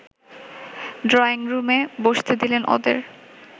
ড্রয়িংরুমে বসতে দিলেন ওদের